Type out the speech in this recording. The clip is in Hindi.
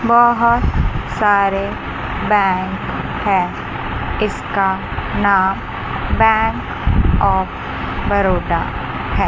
बहुत सारे बैंक हैं इसका नाम बैंक ऑफ़ बरोडा है।